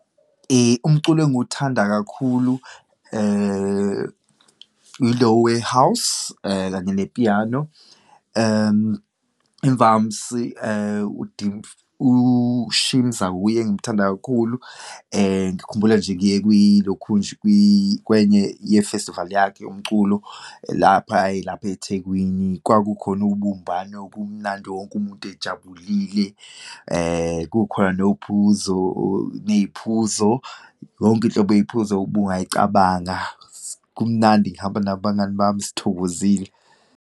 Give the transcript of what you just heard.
Umculo engiwuthanda kakhulu ilo we-house, kanye ne-piano. Imvamsi uShimza wuye engimthanda kakhulu. Ngikhumbula nje ngiye kwilokhunja kwenye ye-festival yakhe yomculo, lapha aye lapha eThekwini. Kwakukhona ubumbano, kumnandi, wonke umuntu ejabulile, kukhona nophuzo, neyiphuzo, yonke inhlobo yeyiphuzo obungayicabanga, kumnandi, ngihamba nabangani bami sithokozile.